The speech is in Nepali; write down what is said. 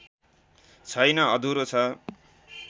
छैन अधुरो छ